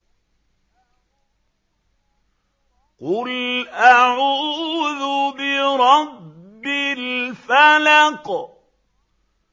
قُلْ أَعُوذُ بِرَبِّ الْفَلَقِ